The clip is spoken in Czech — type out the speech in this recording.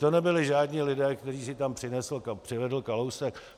To nebyli žádní lidé, které si tam přivedl Kalousek.